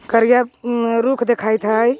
करिया उम् रुख देखाइत हई।